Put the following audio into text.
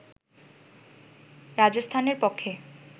রাজস্থানের পক্ষে